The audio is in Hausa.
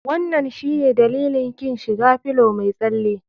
Wanan shine dalilin kin shiga fillow mai tsalen?